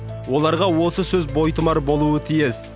оларға осы сөз бойтұмар болуы тиіс